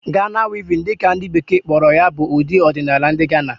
Ghana Weaving' dị ka ndị bekee kpọrọ ya bụ ụdị ọdinaala ndị Gana